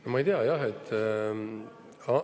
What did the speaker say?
No ma ei tea, jah.